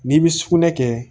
N'i bi sugunɛ kɛ